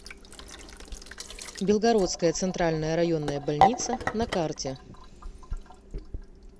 белгородская центральная районная больница на карте